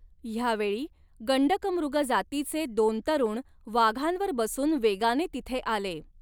ह्यावेळी गण्डकमृग जातीचे दोन तरुण वाघांवर बसून वेगाने तिथे आले.